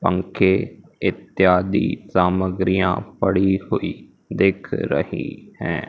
पंखे इत्यादि सामग्रियां पड़ी हुई दिख रही हैं।